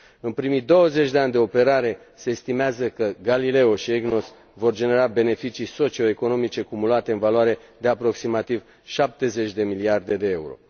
În primii douăzeci de ani de operare, se estimează că Galileo și EGNOS vor genera beneficii socioeconomice cumulate în valoare de aproximativ 70 de miliarde de euro.